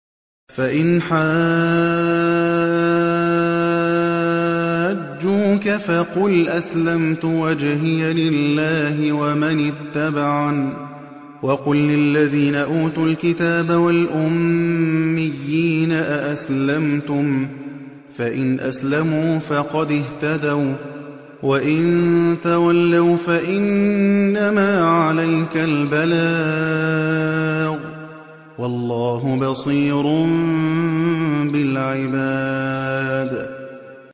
فَإِنْ حَاجُّوكَ فَقُلْ أَسْلَمْتُ وَجْهِيَ لِلَّهِ وَمَنِ اتَّبَعَنِ ۗ وَقُل لِّلَّذِينَ أُوتُوا الْكِتَابَ وَالْأُمِّيِّينَ أَأَسْلَمْتُمْ ۚ فَإِنْ أَسْلَمُوا فَقَدِ اهْتَدَوا ۖ وَّإِن تَوَلَّوْا فَإِنَّمَا عَلَيْكَ الْبَلَاغُ ۗ وَاللَّهُ بَصِيرٌ بِالْعِبَادِ